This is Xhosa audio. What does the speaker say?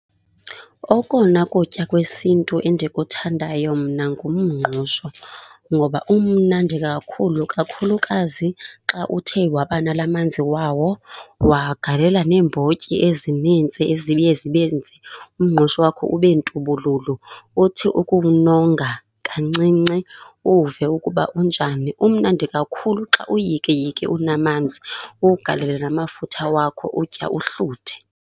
Okona kutya kwesintu endikuthandayo mna ngumngqusho ngoba umnandi kakhulu. Kakhulukazi xa uthe wabanala manzi wawo, wagalela neembotyi ezinintsi eziye zibenze umngqusho wakho ube ntubululu. Uthi ukuwunonga kancinci, uwuve ukuba unjani. Umnandi kakhulu xa uyikiyiki unamanzi uwugalele namafutha wakho, utya uhluthe.